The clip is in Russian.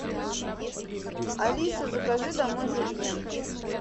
алиса закажи домой жульен